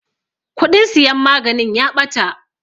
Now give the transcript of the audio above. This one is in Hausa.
Kuɗin siyan maganin ya ɓata.